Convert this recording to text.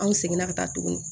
An seginna ka taa tuguni